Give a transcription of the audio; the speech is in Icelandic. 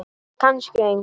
Kannski engu.